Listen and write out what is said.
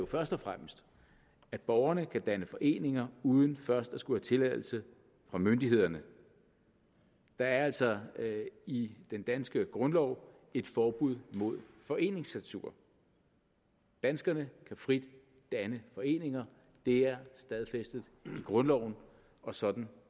først og fremmest at borgerne kan danne foreninger uden først at skulle have tilladelse fra myndighederne der er altså i den danske grundlov et forbud mod foreningscensur danskerne kan frit danne foreninger det er stadfæstet i grundloven og sådan